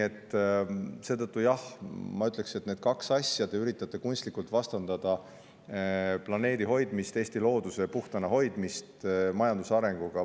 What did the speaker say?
Seetõttu, jah, ma ütleksin, et te üritate neid kahte asja kunstlikult omavahel vastandada: planeedi hoidmist, sealhulgas Eesti looduse puhtana hoidmist, majanduse arengule.